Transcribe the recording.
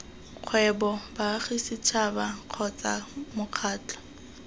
kgwebo baagi setšhaba kgotsa mokgatlho